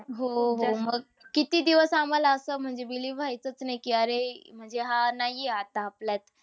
हो, हो. मग आम्हाला किती दिवस आम्हाला असं म्हणजे Believe व्ह्याचच नाही कि अरे अह हा नाही आहे आपल्यात.